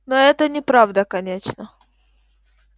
но это неправда конечно